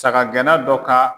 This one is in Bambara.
Saga gɛnna dɔ ka